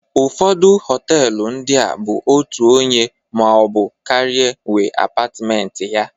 Ụfọdụ họtelu ndịa bụ otu onye maọbụ karịa nwee apatmenti ya